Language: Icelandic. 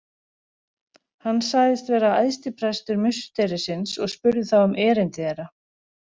Hann sagðist vera æðstiprestur musterisins og spurði þá um erindi þeirra.